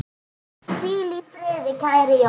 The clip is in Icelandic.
Hvíl í friði, kæri Jón.